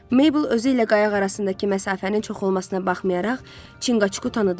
Mabel özü ilə qayıq arasındakı məsafənin çox olmasına baxmayaraq Çinqaçkuku tanıdı.